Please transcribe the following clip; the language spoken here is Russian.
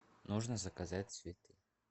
нужно заказать цветы